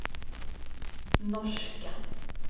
norska